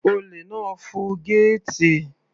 Olè náà fọ gẹ́ẹ̀tì.